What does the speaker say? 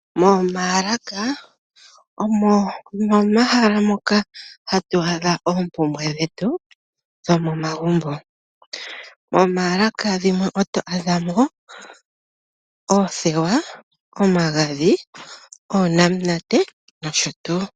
Momaalaka omo momahala moka hatu adha oopumbwe dhetu dhomomagumbo. Momaalaka dhimwe oto adha mo oothewa, omagadhi, oonamunate nosho tuu.